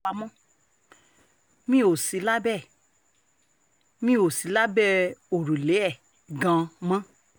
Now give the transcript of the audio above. wa mọ́ mi ò sí lábẹ́ ẹ̀ mi ò sí lábẹ́ òrùlé ẹ̀ gan-an mọ́